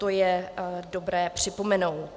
To je dobré připomenout.